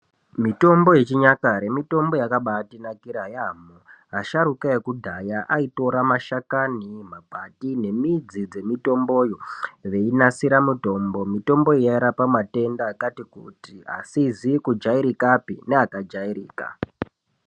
Mitombo yechinyakare mitombo yakabatinakira yaamho. Asharukwa ekudhaya aitora mashakani, makwati nemidzi dzemitonboyo veinasira mitombo. Mitombo iyi yainasira matenda akati kuti asizi kujairikapi neakajairika.